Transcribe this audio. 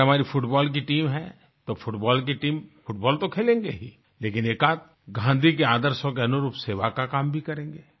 अगर हमारी फुटबाल की टीम है तो फ़ुटबाल की टीम फ़ुटबाल तो खेलेंगे ही लेकिन एकआध गाँधी के आदर्शों के अनुरूप सेवा का काम भी करेंगे